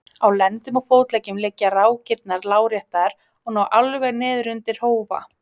Á lendum og fótleggjum liggja rákirnar lárétt og ná alveg niður undir hófa.